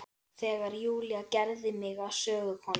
Þegar Júlía gerði mig að sögukonu.